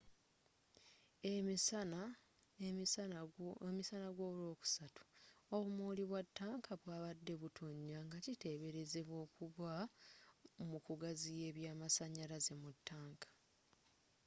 emisana golwokusatu obumooli bwa ttanka bwabadde butonya ngakiteberezebwa okuba mu kugaziya ebyamasanyalaze mu ttaanka